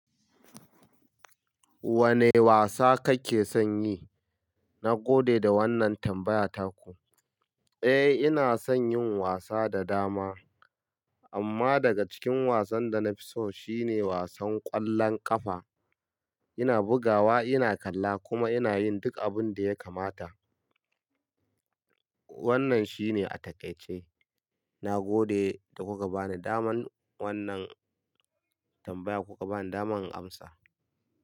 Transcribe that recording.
Wane wasa kake son yi? Na gode da wannan tambaya taku. Eh, ina son yin wasa da dama. Amma daga cikin wasan da na fi so shine wasan ƙwallon ƙafa. Ina bugawa, ina kalla kuma ina yin duk abin da ya kamata. Wannan shine a takaice. Na gode da kuka ba ni daman wannan tambaya, kuka ba ni daman in amsa.